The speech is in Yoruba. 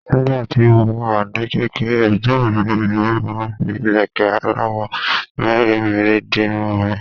Nígbà tí mo wà ní kékeré, ẹ̀gbọ́n mi obìnrin máa ń fi ìlẹ̀kẹ́ aláwọ̀ mèremère di irun mi.